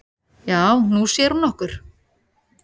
"""Já, Nú sér hún okkur"""